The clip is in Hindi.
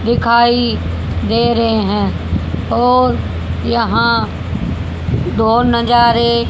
दिखाई दे रहे है और यहां दो नजारे--